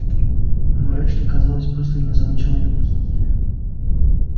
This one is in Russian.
но эшли казалось просто не замечал её присутствия